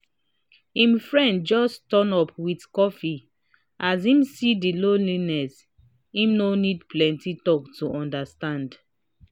im friend just turn up with coffee as im see the lonliness im no need plenty talk to understand